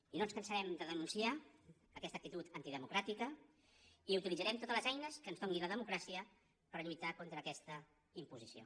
i no ens cansarem de denunciar aquesta actitud antidemocràtica i utilitzarem totes les eines que ens doni la democràcia per lluitar contra aquesta imposició